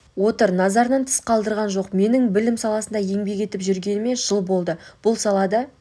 отыр назарынан тыс қалдырған жоқ менің білім саласында еңбек етіп жүргеніме жыл болды бұл салада